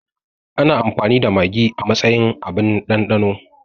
Ana amfani da magi a matsayin abun ɗanɗano